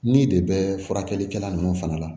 Ni de bɛ furakɛlikɛla nunnu fana la